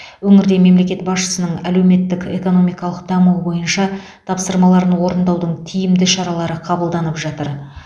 өңірде мемлекет басшысының әлеуметік экономикалық дамуы бойынша тапсырмаларын орындаудың тиімді шаралары қабылданып жатыр